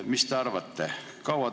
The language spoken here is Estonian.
Mis te arvate?